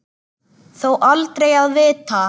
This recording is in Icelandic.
Þó aldrei að vita.